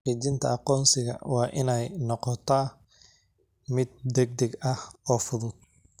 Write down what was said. Xaqiijinta aqoonsigu waa inay noqotaa mid degdeg ah oo fudud.